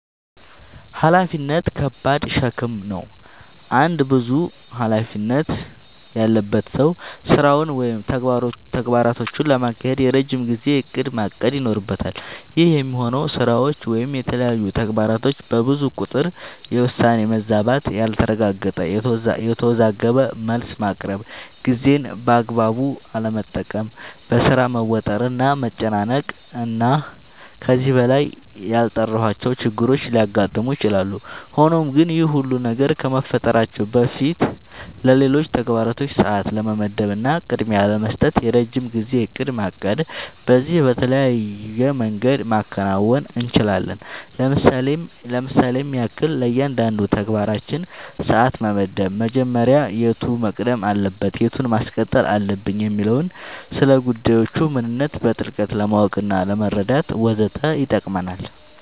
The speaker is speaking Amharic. ኃላፊነት ከባድ ሸክም ነው። አንድ ብዙ ኃላፊነት ያለበት ሰው ስራውን ወይም ተግባራቶቹን ለማካሄድ የረጅም ጊዜ እቅድ ማቀድ ይኖርበታል። ይህ የሚሆነው ስራዎች ወይም የተለያዩ ተግባራቶች በብዙ ቁጥር የውሳኔ መዛባት ያልተረጋገጠ፣ የተወዘጋገበ መልስ ማቅረብ፣ ጊዜን በአግባቡ አለመጠቀም፣ በሥራ መወጠር እና መጨናነቅ እና ከዚህ በላይ ያልጠራሁዋቸው ችግሮች ሊያጋጥሙ ይችላሉ። ሆኖም ግን ይህ ሁሉ ነገር ከመፈጠራቸው በፊትለሌሎች ተግባራቶች ሰዓት ለመመደብ እና ቅድሚያ ለመስጠት የረጅም ጊዜ እቅድ ማቀድ በዚህም በተለያየ መንገድ ማከናወን እንችላለኝ ለምሳሌም ያክል፦ ለእያንዳንዱ ተግባራችን ሰዓት መመደብ መጀመሪያ የቱ መቅደም አለበት የቱን ማስቀጠል አለብኝ የሚለውን፣ ስለጉዳዮቹ ምንነት በጥልቀት ለማወቅናለመረዳት ወዘተ ይጠቅመናል።